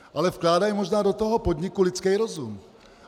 Ale vkládají možná do toho podniku lidský rozum.